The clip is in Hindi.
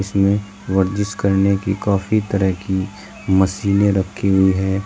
इसमें वर्जिश करने की काफी तरह की मशीनें रखी हुई हैं।